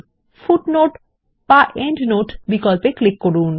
তারপর footnote endnote বিকল্পে click করুন